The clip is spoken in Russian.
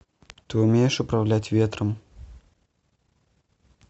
ты умеешь управлять ветром